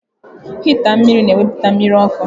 Hịịtá mmiri na ewepụta mmiri ọkụ.